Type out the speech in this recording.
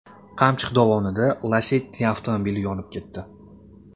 Qamchiq dovonida Lacetti avtomobili yonib ketdi.